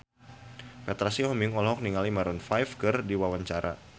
Petra Sihombing olohok ningali Maroon 5 keur diwawancara